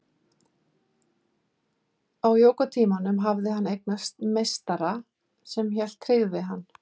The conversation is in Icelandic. Á jógatímanum hafði hann eignast meistara sem hélt tryggð við hann.